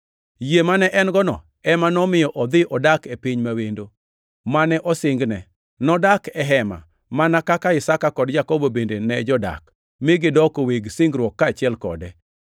Yie mane en-gono ema nomiyo odhi odak e piny ma wendo, mane osingne. Nodak e hema mana kaka Isaka kod Jakobo bende ne jodak, mi gidoko weg singruok kaachiel kode.